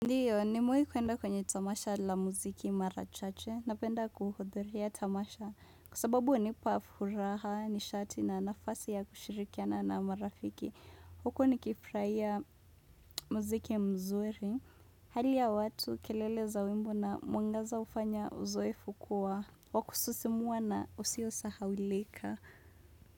Ndiyo, nimewai kuenda kwenye tamasha la muziki mara chache, napenda kuhudhuria tamasha, kwa sababu hunipa furaha, nishati na nafasi ya kushirikiana na marafiki. Huko nikifurahia muziki mzuri, hali ya watu kelele za wimbo na mwangaza hufanya uzoefu kuwa, wa kususimua na usio sahaulika.